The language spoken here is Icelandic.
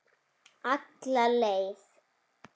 Alla leið.